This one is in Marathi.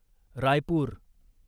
रायपूर